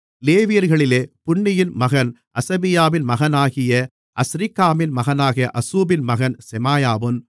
லேவியர்களிலே புன்னியின் மகன் அசபியாவின் மகனாகிய அஸ்ரிக்காமின் மகனான அசூபின் மகன் செமாயாவும்